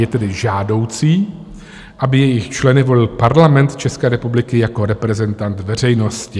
Je tedy žádoucí, aby jejich členy volil Parlament České republiky jako reprezentant veřejnosti.